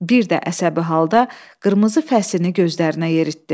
Bir də əsəbi halda qırmızı fəsini gözlərinə yeritdi.